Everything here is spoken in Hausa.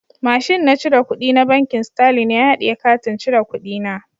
Mashin na cire kudi na bankin"starling " ya hadiye katin cire kudi na.